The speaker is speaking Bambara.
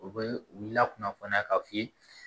U bɛ u lakunnafoniya k'a f'i ye